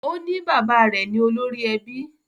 O ní bàbá rẹ̀ ni olórí ẹbí